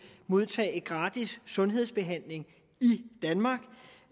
modtage gratis sundhedsbehandling